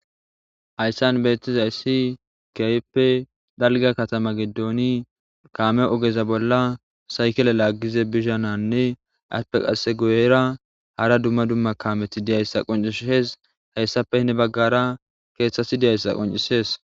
hayssan beettizayssi keehippe dalga katama gedooni kaame ogeza bolla saykele laaggize bishananne aspe qase goyera hara dumma dumma kameti diyayssa qoncish hees hayssape hne baggara keeththati diyayssa qoncisees